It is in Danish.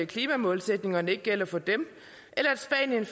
klimamålsætningerne ikke gælder for dem